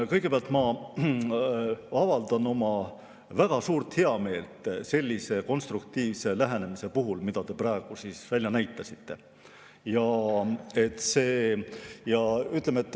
Kõigepealt ma avaldan väga suurt heameelt sellise konstruktiivse lähenemise üle, mida te praegu välja näitasite.